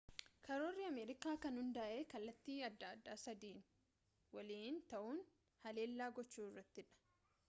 karoorri ameerikaa kan hundaa'e kallattii adda addaa sadiin waliin ta'uun haleellaa gochuu irratti dha